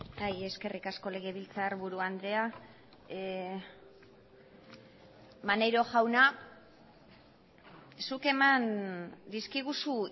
bai eskerrik asko legebiltzarburu andrea maneiro jauna zuk eman dizkiguzu